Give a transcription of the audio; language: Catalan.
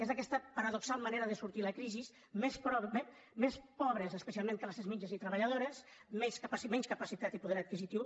és aquesta paradoxal manera de sortir de la crisi més pobres especialment classes mitjanes i treballadores menys capacitat i poder adquisitiu